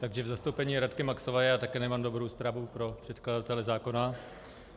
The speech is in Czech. Takže v zastoupení Radky Maxové já také nemám dobrou zprávu pro předkladatele zákona.